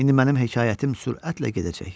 İndi mənim hekayətim sürətlə gedəcək.